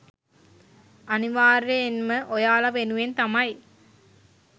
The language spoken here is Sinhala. අනිවාර්යයෙන්ම ඔයාලා වෙනුවෙන් තමයි